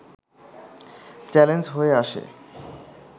challenge হয়ে আসে